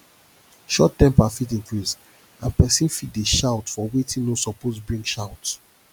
short temper fit increase and pesin fit dey shout for wetin no suppose bring shout